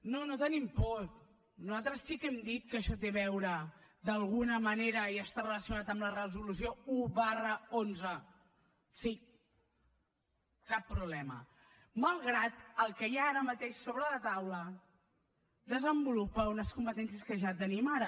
no no tenim por nosaltres sí que hem dit que això té a veure d’alguna manera i està relacionat amb la resolució un xi sí cap problema malgrat que el que hi ha ara mateix sobre la taula desenvolupa unes competències que ja tenim ara